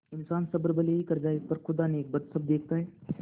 इन्सान सब्र भले ही कर जाय पर खुदा नेकबद सब देखता है